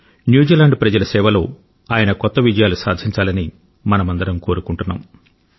New Zealand ప్రజల సేవలో ఆయన కొత్త విజయాలు సాధించాలని మనమందరం కోరుకుంటున్నాం